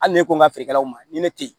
Hali ne ko n ka feerekɛlaw ma ni ne tɛ yen